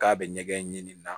K'a bɛ ɲɛgɛn ɲini na